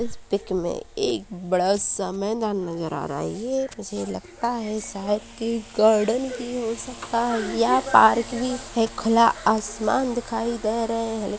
इस पीक में एक बड़ा सा मैदान नजर आ रहा है ये मुझे लगता है शायद की गार्डन भी हो सकता है या पार्क भी है खुला आसमान भी दिखाई दे रहे हैं लेकिन --